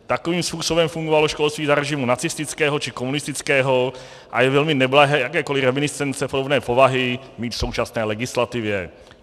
Takovým způsobem fungovalo školství za režimu nacistického či komunistického a je velmi neblahé jakékoli reminiscence podobné povahy mít v současné legislativě.